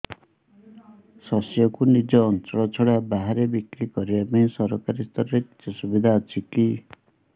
ଶସ୍ୟକୁ ନିଜ ଅଞ୍ଚଳ ଛଡା ବାହାରେ ବିକ୍ରି କରିବା ପାଇଁ ସରକାରୀ ସ୍ତରରେ କିଛି ସୁବିଧା ଅଛି କି